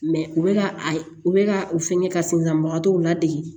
u bɛ ka u bɛ ka u fɛngɛ ka sennabagatɔw ladege